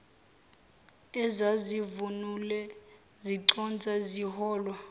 ezazivunule ziconsa ziholwa